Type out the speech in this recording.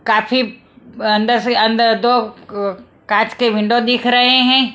काफी अंदर से अंदर दो क कांच के विंडो दिख रहे हैं।